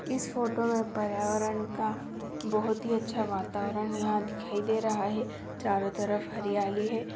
इस फोटो में पर्यावरण का बहुत ही अच्छा वातावरण यहाँ दिखाई दे रहा है चारो तरफ हरियाली है।